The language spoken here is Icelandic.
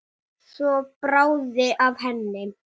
Hver spyr um hana?